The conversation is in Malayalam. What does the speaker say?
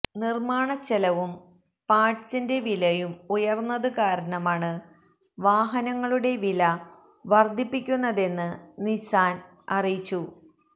നിര്മാണ ചെലവും പാര്ട്സിന്റെ വിലയും ഉയര്ന്നത് കാരണമാണ് വാഹനങ്ങളുടെ വില വര്ധിപ്പിക്കുന്നതെന്ന് നിസാന് അറിയിച്ചു